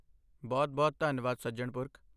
ਬਹੁਤ ਬਹੁਤ ਧੰਨਵਾਦ ਸੱਜਣ ਪੁਰਖ!